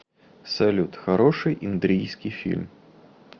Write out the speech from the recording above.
салют хороший индрийский фильм